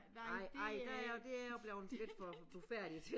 Nej nej der det er jeg blevet lidt for blufærdig til